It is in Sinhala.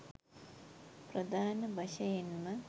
ප්‍රධාන වශයෙන්ම